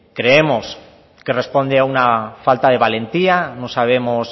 creemos que responde a una falta de valentía no sabemos